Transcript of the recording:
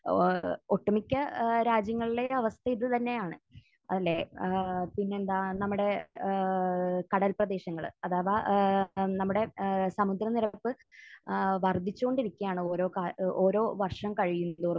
ഏഹ് ഒട്ടുമിക്ക ഏഹ് രാജ്യങ്ങളിലെയും ഒരു അവസ്ഥ ഇതുതന്നെയാണ്. അല്ലെ? ഏഹ് പിന്നെ എന്താ നമ്മുടെ ഏഹ് കടൽ പ്രദേശങ്ങൾ അഥവാ ഏഹ് നമ്മുടെ ഏഹ് സമുദ്രനിരപ്പ് ഏഹ് വർധിച്ചുകൊണ്ടിരിക്കുകയാണ് ഓരോ കാ...ഓരോ വർഷം കഴിയുംതോറും.